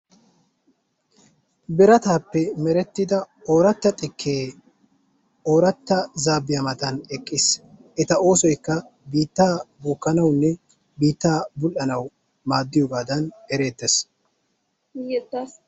Birataappe merettida ooratta xikke ooratta zaabbiya matan eqqiis. Eta oosoykka biitta bookkanawunne biittaa bul''anaw maaddiyoogaadan ereettees.